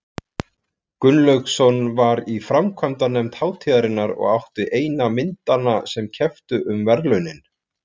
Gunnlaugsson var í framkvæmdanefnd hátíðarinnar og átti eina myndanna sem kepptu um verðlaunin.